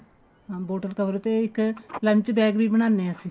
ਹਾਂ bottle cover ਤੇ ਇੱਕ lunch bag ਵੀ ਬਨਾਨੇ ਹਾਂ ਅਸੀਂ